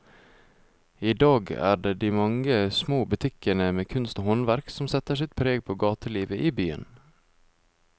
I dag er det de mange små butikkene med kunst og håndverk som setter sitt preg på gatelivet i byen.